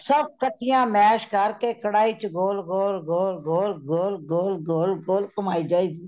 ਸਬ ਕਠੀਆਂ masha ਕਰ ਕੇ ਕਢਾਈ ਵਿੱਚ ਗੋਲ ,ਗੋਲ ,ਗੋਲ ,ਗੋਲ, ਗੋਲ ,ਗੋਲ, ਗੋਲ ,ਗੋਲ ਕੁਮਾਈ ਜਾਈਦੀ